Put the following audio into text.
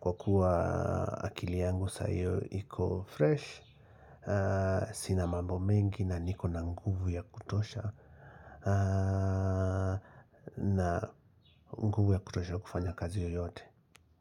Kwa kuwa akili yangu saa hiyo iko fresh, sina mambo mengi na niko na nguvu ya kutosha na nguvu ya kutosha kufanya kazi yoyote.